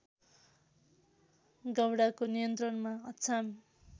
गौँडाको नियन्त्रणमा अछाम